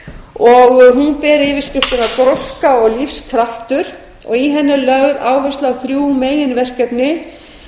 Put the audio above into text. og hún ber yfirskriftina gróska og lífskraftur í henni er lögð áhersla á þrjú meginverkefni